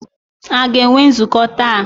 A ga-enwe nzukọ taa?